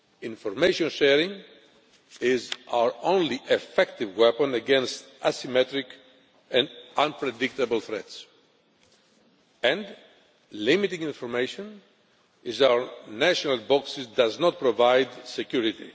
Information sharing is our only effective weapon against asymmetric and unpredictable threats, and limiting information in our national boxes does not provide security.